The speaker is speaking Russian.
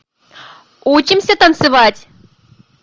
учимся танцевать